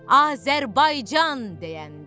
Azərbaycan deyəndə.